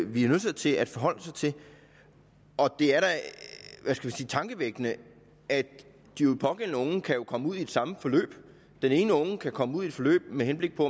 vi er nødsaget til at forholde os til det er da tankevækkende at de pågældende unge jo kan komme ud i det samme forløb den ene unge kan komme ud i et forløb med henblik på